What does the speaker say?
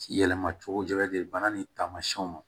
Yɛlɛma cogo ni taamasiyɛnw